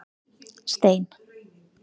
Stein